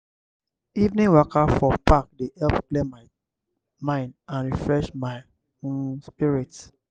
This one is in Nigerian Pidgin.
evening waka for park dey help clear my mind and refresh my um spirit.